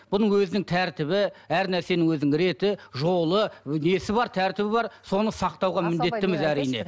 бұның өзінің тәртібі әр нәрсенің өзінің реті жолы несі бар тәртібі бар соны сақтауға міндеттіміз әрине